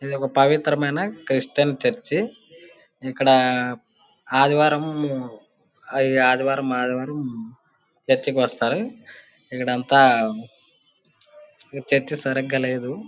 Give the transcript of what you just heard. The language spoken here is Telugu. ఇదొక పవిత్రమైన క్రిస్టియన్ చర్చి . ఇక్కడా ఆదివారము ఆదివారం-ఆదివారం చర్చి కి వస్తారు. ఇక్కడంతా ఇక్కడ చర్చి సరిగ్గా లేదు.